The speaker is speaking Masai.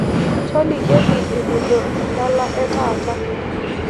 Tolikioki enejo edala e taata